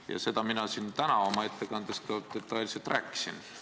Ja sellest mina täna oma ettekandes ka detailselt rääkisin.